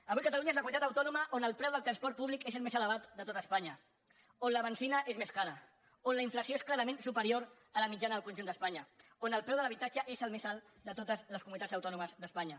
avui catalunya és la comunitat autònoma on el preu del transport públic és el més elevat de tot espanya on la benzina és més cara on la inflació és clarament superior a la mitjana del conjunt d’espanya on el preu de l’habitatge és el més alt de totes les comunitats autònomes d’espanya